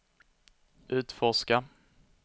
utforska